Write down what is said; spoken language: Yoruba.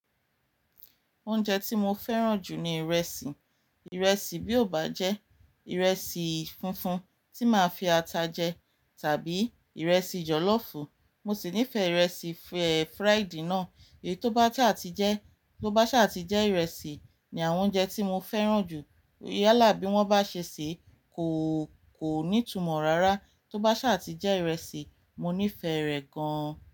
Oúnjẹ tí mo fẹ́ràn jù ni ìrẹsì. Ìrẹsì bí ó bá jẹ́ ìrẹsì funfun tí máa fi ata jẹ tàbí ìrẹsì jọ̀lọ́ọ̀fù. Mo sì nífẹ̀ẹ́ ìrẹsì fẹ̀-fried náà. Èyí tó bá ṣa à ti jẹ́, tó bá ṣa à ti jẹ ìrẹsì ni àwọn oúnjẹ tí mo fẹ́ràn jù. Yálà bí wọ́n bá ṣe ṣé, kò, kò ní túmọ̀ rárá. Tó bá ṣe àti jẹ ìrẹsì, mo nífẹ̀ẹ́ rẹ̀ gan-an.